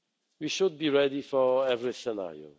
We should be ready for every scenario.